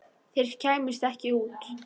Þeir kæmust ekki út.